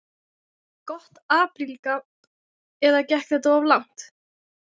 Gott apríl gabb eða gekk þetta of langt?